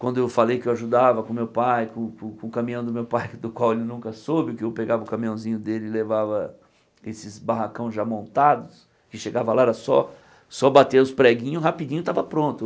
Quando eu falei que eu ajudava com meu pai, com com o caminhão do meu pai, do qual ele nunca soube, que eu pegava o caminhãozinho dele e levava esses barracão já montados, que chegava lá, era só só bater os preguinhos rapidinho tava pronto.